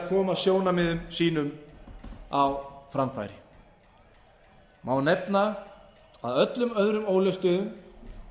koma sjónarmiðum sínum á framfæri má nefna að öllum öðrum ólöstuðum